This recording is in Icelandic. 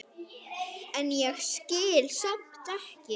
en ég skil samt ekki.